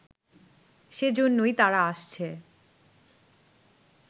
সে জন্যই তারা আসছে